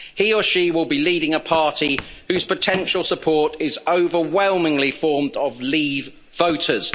He or she will be leading a party whose potential support is overwhelmingly formed of leave voters.